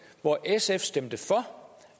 hvor sf stemte for og